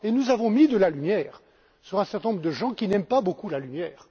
Et nous avons mis de la lumière sur un certain nombre de gens qui n'aiment pas beaucoup la lumière.